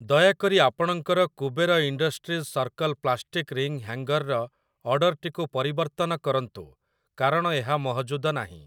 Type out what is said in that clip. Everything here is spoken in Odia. ଦୟାକରି ଆପଣଙ୍କର Kuber industries circle plastic ring hanger ର ଅର୍ଡ଼ର୍‌‌ଟିକୁ ପରିବର୍ତ୍ତନ କରନ୍ତୁ କାରଣ ଏହା ମହଜୁଦ ନାହିଁ ।